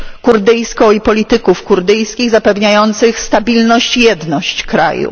kurdyjską i polityków kurdyjskich, zapewniających stabilność i jedność kraju.